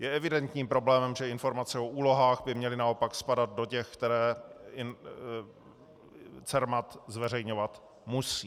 Je evidentním problémem, že informace o úlohách by měly naopak spadat do těch, které CERMAT zveřejňovat musí.